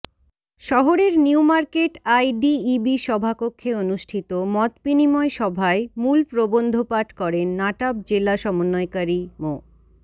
শহরের new market IDEB সভাকক্ষে অনুষ্ঠিত মতবিনিময় সভায় মূল প্রবন্ধ পাঠ করেন নাটাব জেলা সমন্বয়কারী মো